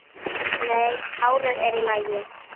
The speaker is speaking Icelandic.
Nei, hárið er í lagi.